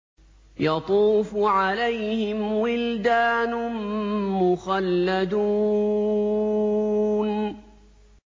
يَطُوفُ عَلَيْهِمْ وِلْدَانٌ مُّخَلَّدُونَ